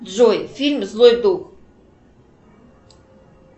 джой фильм злой дух